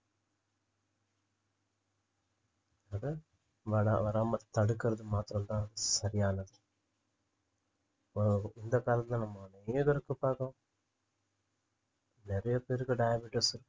அதை வதாம~ வராம தடுக்குறது மாத்தறம் தான் சரியானது இப்போ இந்த காலத்துல நம்ம நெறைய பேருக்கு diabetes இ~